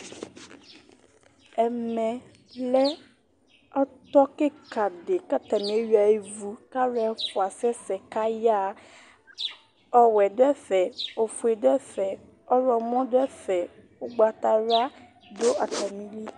Ɛmɛ lɛ ɔtɔ kika di k'atani eyua ivʋ k'alʋ ɛfua asɛsɛ kaya ha Ɔwɛ dʋ ɛfɛ, ofue dʋ ɛfɛ, ɔɣlɔmɔ dʋ ɛfɛ, ʋgbatawla dʋ atamili